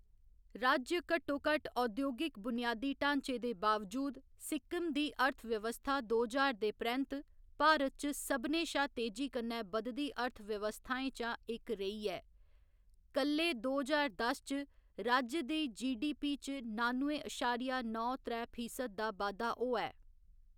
राज्य घट्टोघट्ट औद्योगिक बुनियादी ढांचे दे बावजूद, सिक्किम दी अर्थव्यवस्था दो ज्हार दे परैंत्त भारत च सभनें शा तेजी कन्नै बधदी अर्थव्यवस्थाएं चा इक रेही ऐ, कल्ले दो ज्हार दस च राज्य दे जी.डी.पी. च नानुए अशारिया नौ त्रै फीसद दा बाद्धा होआ ऐ।